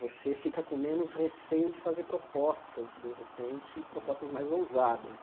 Você fica com menos receio de fazer propostas, de repente, propostas mais ousadas.